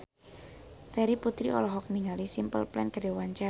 Terry Putri olohok ningali Simple Plan keur diwawancara